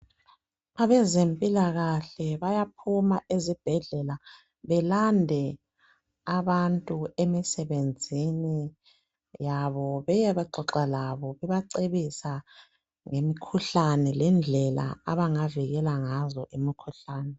Abezempilakahle bayaphuma ezibhedlela belande abantu emisebenzini yabo beyexoxa labo bebacebisa ngemikhuhlane lezindlela abangazivikela ngazo kuyo.